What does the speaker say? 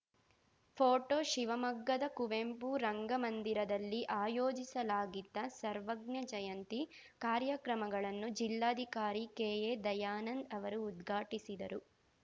photo ಶಿವಮೊಗ್ಗದ ಕುವೆಂಪು ರಂಗಮಂದಿರದಲ್ಲಿ ಆಯೋಜಿಸಲಾಗಿದ್ದ ಸರ್ವಜ್ಞ ಜಯಂತಿ ಕಾರ್ಯಕ್ರಮಗಳನ್ನು ಜಿಲ್ಲಾಧಿಕಾರಿ ಕೆಎ ದಯಾನಂದ್‌ ಅವರು ಉದ್ಘಾಟಿಸಿದರು